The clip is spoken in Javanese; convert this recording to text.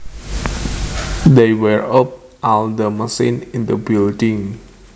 They wired up all the machines in the building